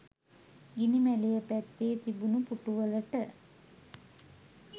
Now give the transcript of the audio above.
ගිනි මැලය පැත්තේ තිබුණ පුටුවලට